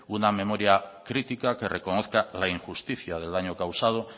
una memoria critica que reconozca la injusticia del daño causado